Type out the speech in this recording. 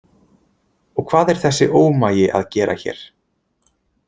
Og hvað er þessi ómagi að gera hér?